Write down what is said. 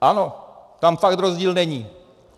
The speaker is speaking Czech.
Ano, tam fakt rozdíl není.